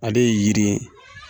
Ale ye yiri ye.